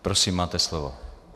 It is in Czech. Prosím, máte slovo.